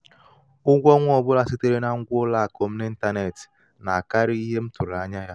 ụgwọ ọnwa ọ bụla sitere na ngwa ụlọ akụ m n'ịntanetị na-akarịkarị ihe m tụrụ anya ya.